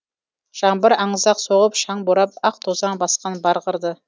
жаңбыр аңызақ соғып шаң борап ақ тозаң басқан бар қырды